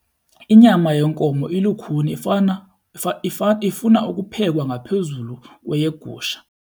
Inyama yenkomo ilukhuni ifana, ifuna ukuphekwa ngaphezu kweyegusha.